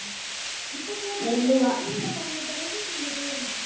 இப்போ போடாதிங்க அறுவடை பண்ண பிறகு, நீங்க போடுங்க.